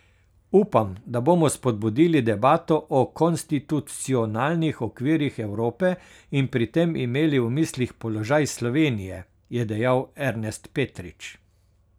Upam, da bomo spodbudili debato o konstitucionalnih okvirih Evrope in pri tem imeli v mislih položaj Slovenije, je dejal Ernest Petrič.